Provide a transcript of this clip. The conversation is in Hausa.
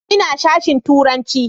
Ina sashen turanci.